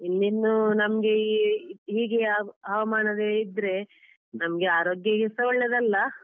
ಇನ್ನಿನ್ನು ನಮ್ಗೆ ಈ ಹೀಗೆ ಹವ~ ಹವಾಮಾನವೇ ಇದ್ರೇ ನಮ್ಗೆ ಆರೋಗ್ಯಗೆ ಸಹ ಒಳ್ಳೆದಲ್ಲ